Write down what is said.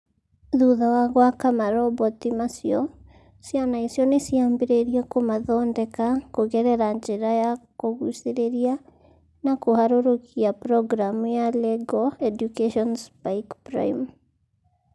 Thutha wa gwaka maroboti macio, ciana icio nĩ ciambĩrĩirie kũmathondeka kũgerera njĩra ya kũgucĩrĩria na kũharũrũkia programu ya LEGO Eduvation Spike Prime